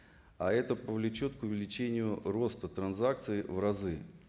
а это повлечет к увеличению роста транзакций в разы